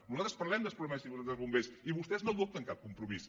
nosaltres parlem dels problemes dels bombers i vostès no adopten cap compromís